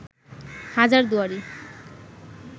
হাজার দুয়ারি